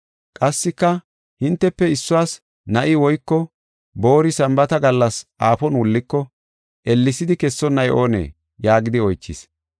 “Qassika hintefe issuwas na7i woyko boori Sambaata gallas aafon wulliko, ellesidi kessonnay oonee?” yaagidi oychis.